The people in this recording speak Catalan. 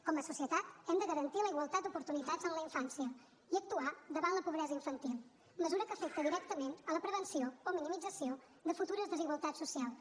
com a societat hem de garantir la igualtat d’oportunitats en la infància i actuar davant la pobresa infantil mesura que afecta directament la prevenció o minimització de futures desigualtats socials